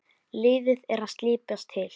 Liðið er að slípast til.